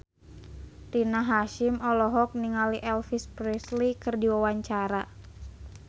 Rina Hasyim olohok ningali Elvis Presley keur diwawancara